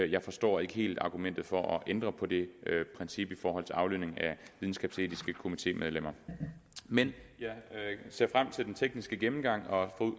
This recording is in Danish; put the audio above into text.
jeg forstår ikke helt argumentet for at ændre på det princip i forhold til aflønning af videnskabsetiske komitémedlemmer men jeg ser frem til den tekniske gennemgang